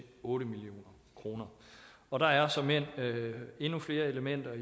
otte million kroner og der er såmænd endnu flere elementer